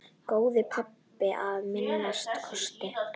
Góður pabbi að minnsta kosti.